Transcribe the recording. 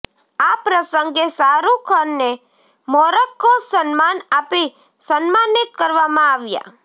આ પ્રસંગે શાહરુખને મોરક્કો સન્માન આપી સન્માનિત કરવામાં આવ્યાં